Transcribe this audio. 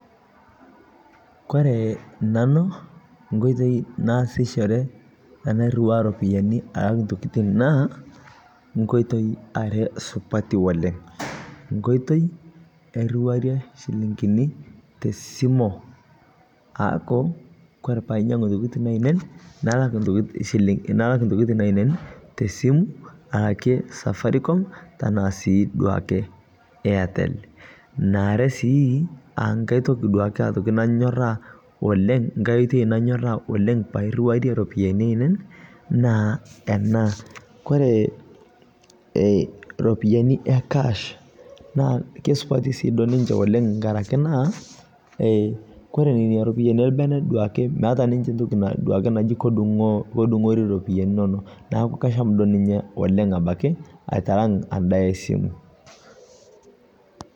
Ore nanu, enkoitoi naasishore tenairiwaya iropiani alak intokitin naa nkoitoi are supati oleng'. Enkoitoi nairiwarie iropiani te esimu, aaku kore pee ainyang'u intokitin ainei, nalak intokin ainei te esimu, aake Safaricom anaa sii duo ake Airtel. Eneare sii aa enkai toki naa anyoraa, enkai oitoi nanyoraa oleng' pee airiwaya iropiani ainei naa ena, Kore iropiani e kash naa suati ake duo ninche oleng' enkaraki naa, koree ejing'ita iropiani olbene duo ake naaji kedung'ori iropiani inono, neaku kasham duo ninye oleng' abaiki aitalang' imbaa esimu.